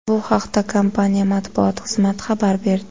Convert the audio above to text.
Bu haqda kompaniya matbuot xizmati xabar berdi .